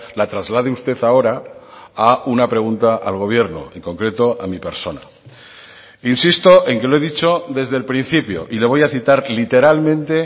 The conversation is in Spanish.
la traslade usted ahora a una pregunta al gobierno en concreto a mi persona insisto en que lo he dicho desde el principio y le voy a citar literalmente